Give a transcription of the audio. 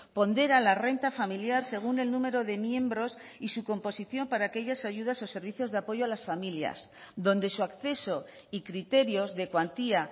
pondera la renta familiar según el número de miembros y su composición para aquellas ayudas o servicios de apoyo a las familias donde su acceso y criterios de cuantía